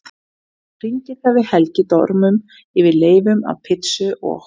Hann hringir þegar við Helgi dormum yfir leifum af pizzu og